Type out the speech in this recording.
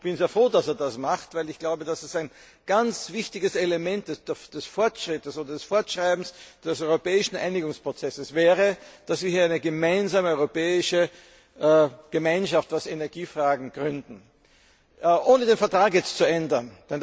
Ich bin sehr froh, dass er das macht, weil ich glaube, dass es ein ganz wichtiges Element des Fortschritts, des Fortschreibens des europäischen Einigungsprozesses wäre, dass wir hier eine gemeinsame europäische Gemeinschaft bezüglich Energiefragen gründen, ohne den Vertrag zu ändern.